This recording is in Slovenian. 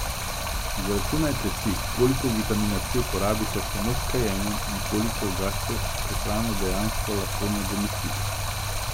Izračunajte si, koliko vitamina C porabite samo s kajenjem in koliko ga s prehrano dejansko lahko nadomestite.